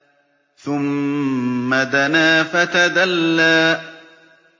ثُمَّ دَنَا فَتَدَلَّىٰ